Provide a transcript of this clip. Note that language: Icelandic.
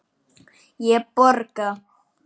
Ég borga.